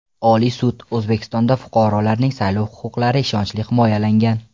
Oliy sud: O‘zbekistonda fuqarolarning saylov huquqlari ishonchli himoyalangan.